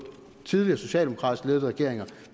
tidligere socialdemokratisk ledede regeringer